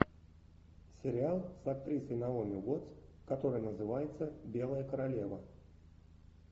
сериал с актрисой наоми уоттс который называется белая королева